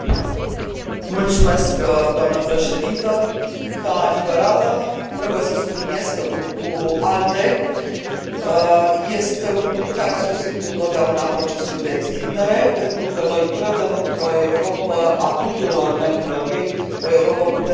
Ca liberală, trebuie să subliniez că Grupul ALDE este un grup care a susținut întotdeauna procesul de extindere, pentru că noi credem într o Europă a tuturor membrilor ei, o Europă puternică și unită. Ca româncă, nu pot decât să salut